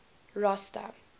rosta